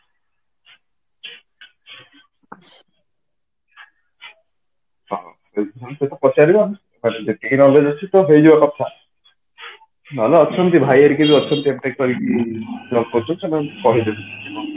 ହଁ ସେଇଟା ପଚାରିବା ତାର ଯେତିକି knowledge ଅଛି ତ ହେଇଯିବା କଥା ନହଲେ ଅଛନ୍ତି ଭାଇ ହେରିକା ବି ଅଛନ୍ତି MTECH କରିକି job କରିଛନ୍ତି ସେମାନେ କହିଦେବେ